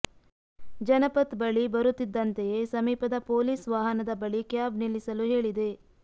ಜನಪಥ್ ಬಳಿ ಬರುತ್ತಿದ್ದಂತೆಯೇ ಸಮೀಪದ ಪೊಲೀಸ್ ವಾಹನದ ಬಳಿ ಕ್ಯಾಬ್ ನಿಲ್ಲಿಸಲು ಹೇಳಿದೆ